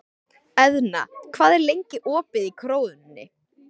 Eðna, hvað er lengi opið í Krónunni?